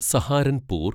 Saharanpur